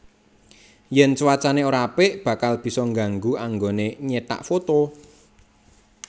Yen cuacane ora apik bakal bisa nggangu anggone nyetak foto